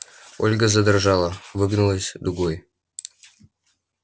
ольга задрожала выгнулась дугой